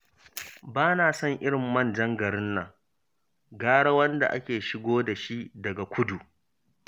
Ba na son irin manjan garin nan, gara wanda ake shigo da shi daga kudu